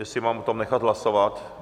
Jestli o tom mám nechat hlasovat?